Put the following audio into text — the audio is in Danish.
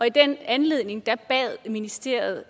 i den anledning bad ministeriet